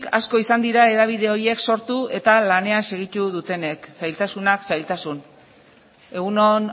asko izan dira hedabideek horiek sortu eta lanean segitu dutenek zailtasunak zailtasun egun on